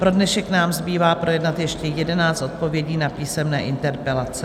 Pro dnešek nám zbývá projednat ještě 11 odpovědí na písemné interpelace.